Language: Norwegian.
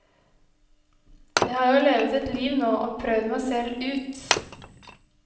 Jeg har jo levet et liv nå og prøvd meg selv ut.